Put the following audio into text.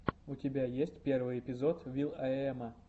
у тебя есть первый эпизод вил ай эма